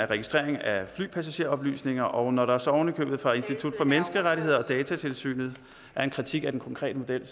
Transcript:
registrering af flypassageroplysninger og når der så oven i købet fra institut for menneskerettigheder og datatilsynet er en kritik af den konkrete model